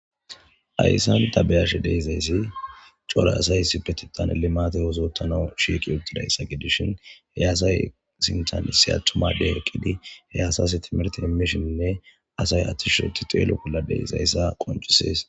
Hayssan ta beyashe de'izayssi core asay isipetitan limate ozoottana shiiqi uttidayssa gidishin heyasay sintanisi attumade eqqidi he asas timirti immishinnne asay attisheuti xeelo bolla dizaysa qoncisees